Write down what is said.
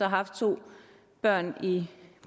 haft to børn i